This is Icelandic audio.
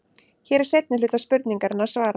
Hér er seinni hluta spurningarinnar svarað.